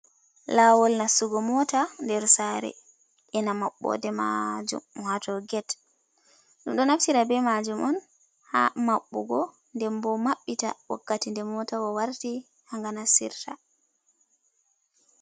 Laawol nastu go mota, der sare ena mabbode maajum waato get. ɗum do naftira be maajum on ha mabɓugo denbo maɓɓe ta wakkati de motawa warti ha ga nasirta.